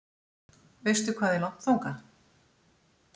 Veistu hvað er langt þangað?